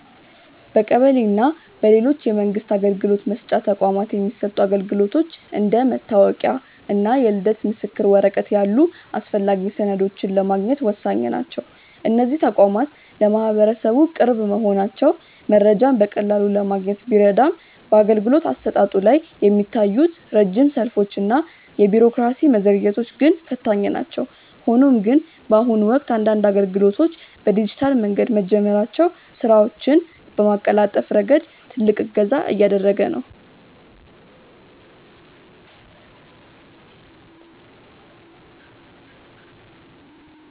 በቀበሌ እና በሌሎች የመንግስት አገልግሎት መስጫ ተቋማት የሚሰጡ አገልግሎቶች እንደ መታወቂያ እና የልደት ምስክር ወረቀት ያሉ አስፈላጊ ሰነዶችን ለማግኘት ወሳኝ ናቸው። እነዚህ ተቋማት ለማህበረሰቡ ቅርብ መሆናቸው መረጃዎችን በቀላሉ ለማግኘት ቢረዳም፣ በአገልግሎት አሰጣጡ ላይ የሚታዩት ረጅም ሰልፎች እና የቢሮክራሲ መዘግየቶች ግን ፈታኝ ናቸው። ሆኖም ግን፣ በአሁኑ ወቅት አንዳንድ አገልግሎቶች በዲጂታል መንገድ መጀመራቸው ስራዎችን በማቀላጠፍ ረገድ ትልቅ እገዛ እያደረገ ነው።